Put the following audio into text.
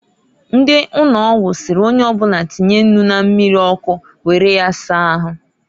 Ndi ụnọgwụ sịrị onyeobụna tinye nnu na mmiri ọkụ were ya saa ahu.